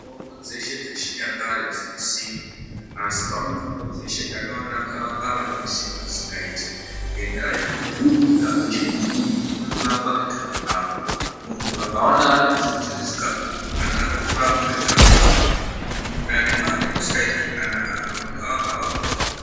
Mitombo dzeshe dzechinyakare dzine simba. Asi pamutombo dzeshe ndakaona gavakava rine simba risingaiti, ngendaa yekuti huku ikazwe chibhubhubhu inoto rapwa ngegavakava. Muntu akaona ane bvudzi risikakuri zvakanaka unorapwa ngegavakava. Muntu mundani mwake musikaiti zvakanaka akamwe gavakava unopona.